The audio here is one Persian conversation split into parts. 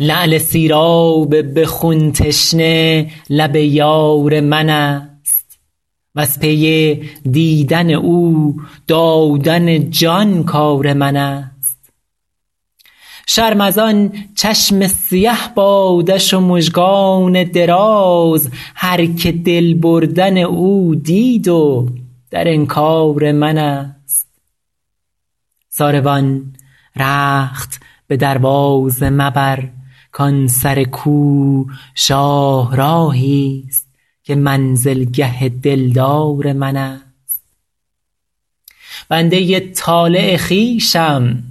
لعل سیراب به خون تشنه لب یار من است وز پی دیدن او دادن جان کار من است شرم از آن چشم سیه بادش و مژگان دراز هرکه دل بردن او دید و در انکار من است ساروان رخت به دروازه مبر کان سر کو شاهراهی ست که منزلگه دلدار من است بنده ی طالع خویشم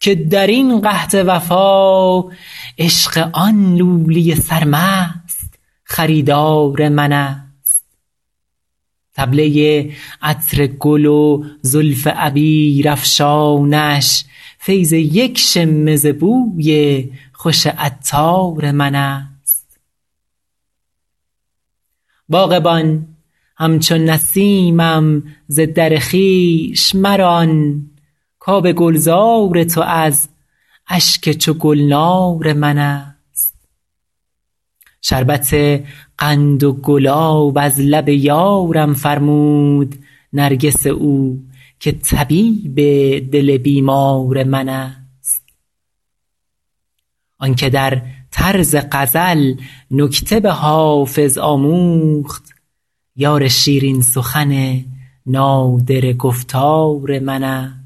که در این قحط وفا عشق آن لولی سرمست خریدار من است طبله ی عطر گل و زلف عبیرافشانش فیض یک شمه ز بوی خوش عطار من است باغبان همچو نسیمم ز در خویش مران کآب گلزار تو از اشک چو گلنار من است شربت قند و گلاب از لب یارم فرمود نرگس او که طبیب دل بیمار من است آن که در طرز غزل نکته به حافظ آموخت یار شیرین سخن نادره گفتار من است